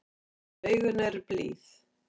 En augun eru blíð.